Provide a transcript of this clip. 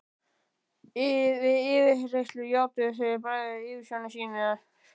Við yfirheyrslur játuðu þeir bræður yfirsjónir sínar.